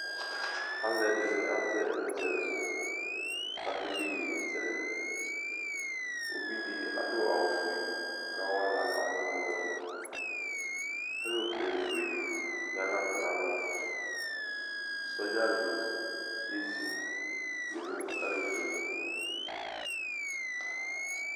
Alʋ ɛdini azɛ ɛmʋzɛlɛko kʋ akede iyeyezɛlɛ Uvi di adʋ awʋ fue kʋ ɔkawa aɣla kamʋ nʋ ɔlɔdi Ɛlɔpleni fue di ya nʋ atami alɔ Sɔdza di ezi tʋ nʋ ɛlɔpleni yɛ li